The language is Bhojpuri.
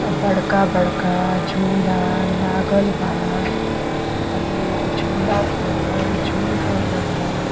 आ बड़का बड़का झूला लागल बा। अ लोग झूला पर झूल रहनल हा।